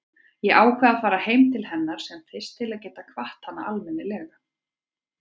Ég ákvað að fara heim til hennar sem fyrst til að geta kvatt hana almennilega.